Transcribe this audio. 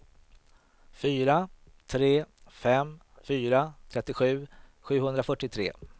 fyra tre fem fyra trettiosju sjuhundrafyrtiotre